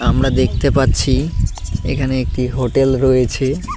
আমরা দেখতে পাচ্ছি এখানে একটি হোটেল রয়েছে।